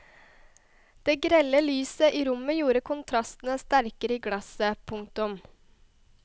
Det grelle lyset i rommet gjorde kontrastene sterke i glasset. punktum